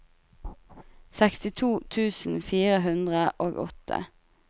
sekstito tusen fire hundre og åtte